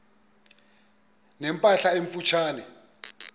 ne mpahla emfutshane